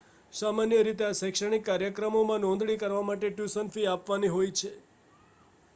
સામાન્ય રીતે આ શૈક્ષણિક કાર્યક્રમોમાં નોંધણી કરાવવા માટે ટ્યુશન ફી આપવાની હોય છે